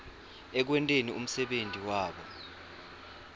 ekwenteni umsebenti wabo